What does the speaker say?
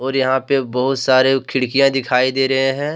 और यहां पे बहोत सारे खिड़कियां दिखाई दे रहे हैं।